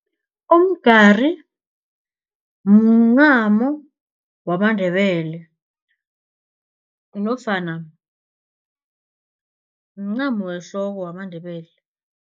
Umgari mncamo wamaNdebele nofana mncamo wehloko wamaNdebele.